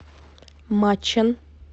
мачэн